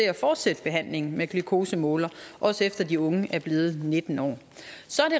at fortsætte behandlingen med glukosemålere også efter at de unge er blevet nitten år så